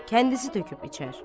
Kəndisi töküb içər.